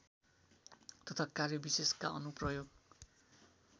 तथा कार्यविशेषका अनुप्रयोग